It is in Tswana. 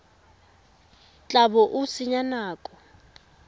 tla bo o senya nako